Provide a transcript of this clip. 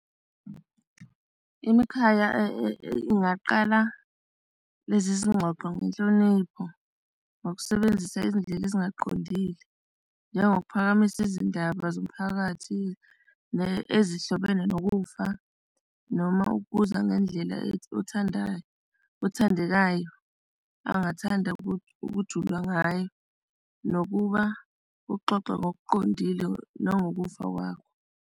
Imikhaya ingaqala lezi zingxoxo ngenhlonipho nokusebenzisa izindlela ezingaqondile njengokuphakamisa izindaba zomphakathi ezihlobene nokufa, noma ukuza ngendlela othandayo, othandekayo angathanda ukujula ngayo nokuba uxoxe ngokuqondile nangokufa kwakho.